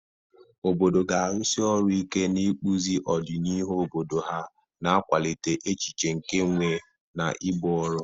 Obodo ga-arụsi ọrụ ike n'ịkpụzi ọdịnihu obodo ha, na-akwalite echiche nke nwe na ibu ọrụ.